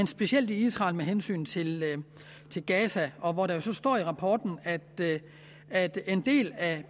specielt i israel med hensyn til til gaza og der står i rapporten at at en del af